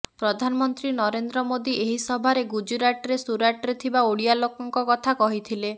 ପ୍ରଧାନମନ୍ତ୍ରୀ ନରେନ୍ଦ୍ର ମୋଦି ଏହି ସଭାରେ ଗୁଜୁରାଟରେ ସୁରାଟରେ ଥିବା ଓଡ଼ିଆ ଲୋକଙ୍କ କଥା କହିଥିଲେ